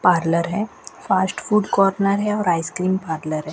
Parlour है fast food corner है और आइसक्रीम पार्लर है।